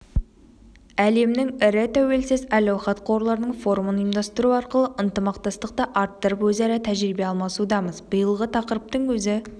әлемнің ірі тәуелсіз әл-ауқат қорларының форумын ұйымдастыру арқылы ынтымақтастықты арттырып өзара тәжірибе алмасудамыз биылғы тақырыптың өзі